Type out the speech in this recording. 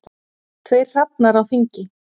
Tveir hrafnar á þingi.